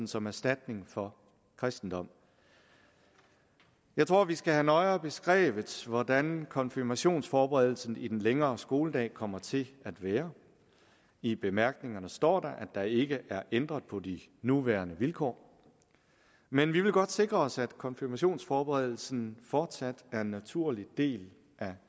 som erstatning for kristendom jeg tror vi skal have nøjere beskrevet hvordan konfirmationsforberedelsen i den længere skoledag kommer til at være i bemærkningerne står der at der ikke er ændret på de nuværende vilkår men vi vil godt sikre os at konfirmationsforberedelsen fortsat er en naturlig del af